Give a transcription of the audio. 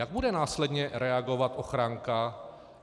Jak bude následně reagovat ochranka?